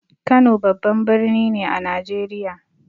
Kano babban birni ne a Najeriya.